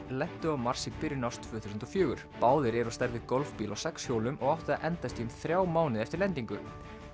lentu á Mars í byrjun árs tvö þúsund og fjögur báðir eru á stærð við golfbíl á sex hjólum og áttu að endast í um þrjá mánuði eftir lendingu